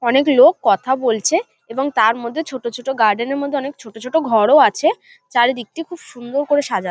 অনেক লোক কথা বলছে এবং তার মধ্যে ছোট ছোট গার্ডেন -এর মধ্যে অনেক ছোট ছোট ঘরও আছে চারিদিকটি খুব সুন্দর করে সাজা--